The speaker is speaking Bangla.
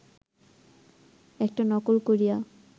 একটা নকল করিয়া